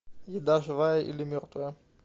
еда живая или мертвая